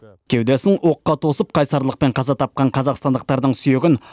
кеудесін оққа тосып қайсарлықпен қаза тапқан қазақстандықтардың сүйегін